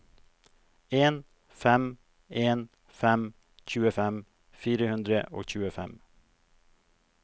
en fem en fem tjuefem fire hundre og tjuefem